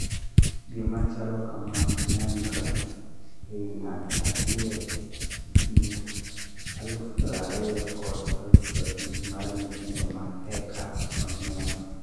Gima chalo kamaa nenro eii ng'ato achiel ee kind 20,000 kod 50,000 mar nyithindo maeka onyuol